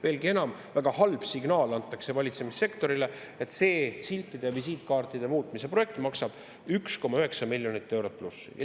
Veelgi enam, väga halb signaal antakse valitsemissektorile, kui see siltide ja visiitkaartide muutmise projekt maksab rohkem kui 1,9 miljonit eurot.